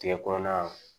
Tigɛ kɔnɔna